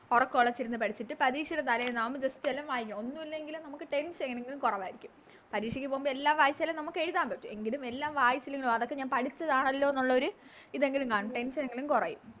ഒറക്കവോളച്ചിരുന്ന് പഠിച്ചിട്ട് പരീക്ഷെടെ തലേന്ന് ആവുമ്പൊ Just എല്ലാം വായിക്ക ഒന്നുല്ലെങ്കിലും നമുക്ക് Tension എങ്ങനെയെങ്കിലും കൊറവാരിക്കും പരീക്ഷക്ക് പോകുമ്പോ എല്ലാം വായിച്ചാലും നമുക്ക് എഴുതാൻ പറ്റും എങ്കിലും എല്ലാം വായിച്ചാലും അതൊക്കെ ഞാൻ പഠിച്ചതാണല്ലോ എന്നൊള്ളോരു ഇതെങ്കിലും കാണും Tension എങ്കിലും കൊറയും